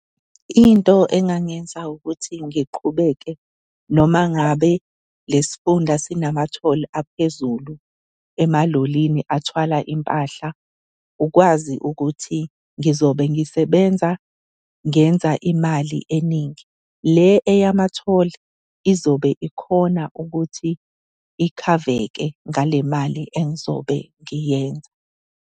Into engangenza ukuthi ngiqhubeke noma ngabe lesifunda sinamathole aphezulu emalolini athwala impahla. Ukwazi ukuthi ngizobe ngisebenza ngenza imali eningi, le eyamathole izobe ikhona ukuthi ikhaveke ngale mali engizobe ngiyenza.